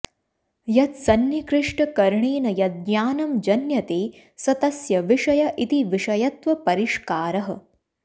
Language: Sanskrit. यत्सन्निकृष्टकरणेन यद्ज्ञानं जन्यते स तस्य विषय इति विषयत्वपरिष्कारः